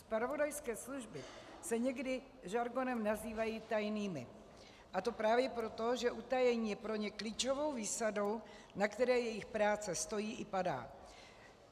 Zpravodajské služby se někdy žargonem nazývají tajnými, a to právě proto, že utajení je pro ně klíčovou výsadou, na které jejich práce stojí i padá.